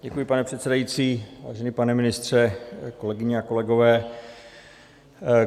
Děkuji, pane předsedající, vážený pane ministře, kolegyně a kolegové.